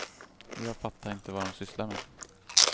Jag fattar inte vad de sysslar med.